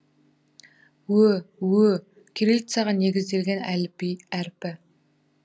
ө ө кириллицаға негізделген әліпби әрпі